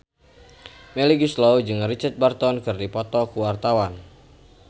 Melly Goeslaw jeung Richard Burton keur dipoto ku wartawan